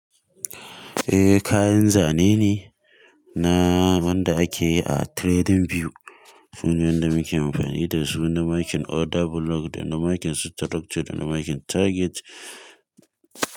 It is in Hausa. Eh kayan zane ne na wanda ake yi a trading view. Su ne wanda muke amfani da su, suna makin order block, suna makin structure, suna makin target.